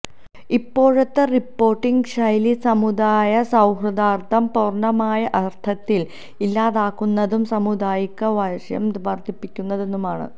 ഇപ്പോഴത്തെ റിപോര്ട്ടിങ് ശൈലി സമുദായ സൌഹാര്ദ്ദം പൂര്ണമായ അര്ത്ഥത്തില് ഇല്ലാതാക്കുന്നതും സമുദായികവൈര്യം വര്ധിപ്പിക്കുന്നതുമാണ്